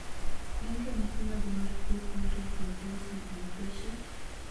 Gin ranyisi mage mar tuo frontal fibrosing alopecia?